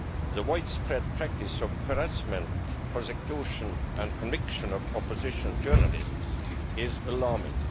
The widespread practice of harassment, persecution and conviction of opposition journalists is alarming.